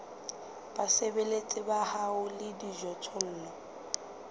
basebeletsi ba hao le dijothollo